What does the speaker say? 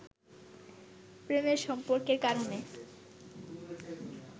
প্রেমের সম্পর্কের কারণে